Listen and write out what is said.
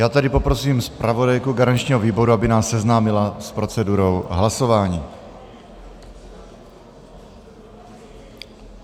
Já tedy poprosím zpravodajku garančního výboru, aby nás seznámila s procedurou hlasování.